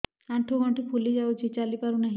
ଆଂଠୁ ଗଂଠି ଫୁଲି ଯାଉଛି ଚାଲି ପାରୁ ନାହିଁ